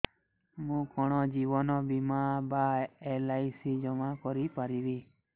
ମୁ କଣ ଜୀବନ ବୀମା ବା ଏଲ୍.ଆଇ.ସି ଜମା କରି ପାରିବି